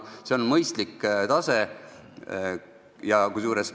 See on mõistlik tase.